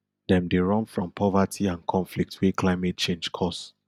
dem dey run from poverty and conflict wey climate change cause